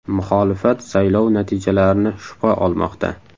Muxolifat saylov natijalarini shubha olmoqda.